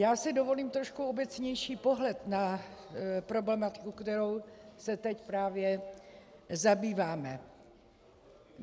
Já si dovolím trošku obecnější pohled na problematiku, kterou se teď právě zabýváme.